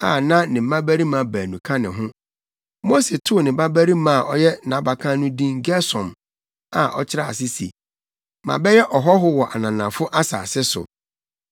a na ne mmabarima baanu ka ne ho. Mose too ne babarima a na ɔyɛ nʼabakan no din Gersom a ɔkyerɛ ase se, “Mabɛyɛ ɔhɔho wɔ ananafo asase so.”